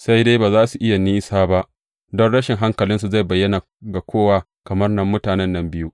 Sai dai ba za su yi nisa ba, don rashin hankalinsu zai bayyana ga kowa, kamar na mutanen nan biyu.